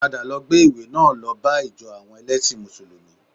Padà lọ gbé ìwé náà lọ bá ìjọ àwọn ẹlẹ́sìn mùsùlùmí